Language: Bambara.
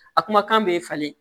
A kumakan bɛ falen